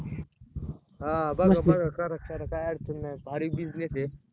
बगा बगा करा करा काय अडचण नाय भारी business आहे